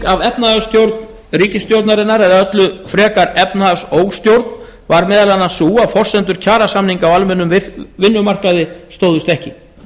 af efnahagsstjórn ríkisstjórnarinnar eða öllu frekar efnahagsóstjórn var meðal annars sú að forsendur kjarasamninga á almennum vinnumarkaði stóðust ekki